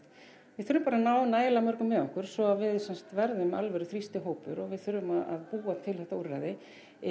við þurfum bara að ná nægilega mörgum með okkur svo að við sem sagt verðum alvöru þrýstihópur og við þurfum að búa til þetta úrræði